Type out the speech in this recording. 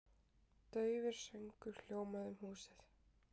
Daufur söngur hljómandi um húsið.